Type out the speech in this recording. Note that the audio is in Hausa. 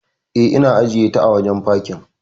E, na ajiyeta a wajen fakin.